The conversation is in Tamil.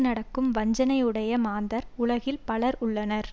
நடக்கும் வஞ்சனை உடைய மாந்தர் உலகில் பலர் உள்ளனர்